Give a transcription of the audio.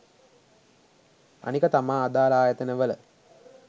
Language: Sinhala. අනික තමා අදාල ආයතන වල